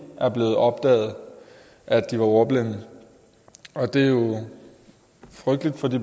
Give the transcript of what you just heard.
er blevet opdaget at de var ordblinde og det er jo frygteligt for de